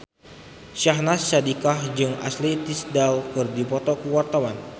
Syahnaz Sadiqah jeung Ashley Tisdale keur dipoto ku wartawan